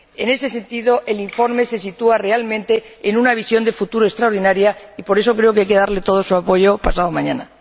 En ese sentido, el informe se sitúa realmente en una visión de futuro extraordinaria y por eso creo que hay que darle todo nuestro apoyo pasado mañana.